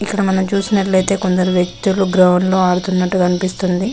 ఇక్కడ మనం చూసినట్లయితే కొందరు వ్యక్తులు గ్రౌండ్ లో ఆడుతున్నట్టు కనిపిస్తుంది.